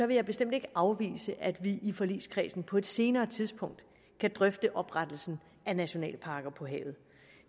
vil jeg bestemt ikke afvise at vi i forligskredsen på et senere tidspunkt kan drøfte oprettelsen af nationalparker på havet